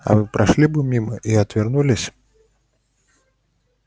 а вы прошли бы мимо и отвернулись